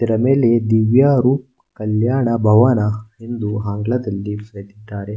ಇದರ ಮೇಲೆ ದಿವ್ಯರೂಪ ಕಲ್ಯಾಣ ಭವನ ಎಂದು ಆಂಗ್ಲದಲ್ಲಿ ಬರೆದಿದ್ದಾರೆ.